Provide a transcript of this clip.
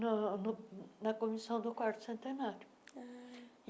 no no na Comissão do Quarto Centenário. ah